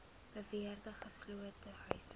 beweerde gesloopte huise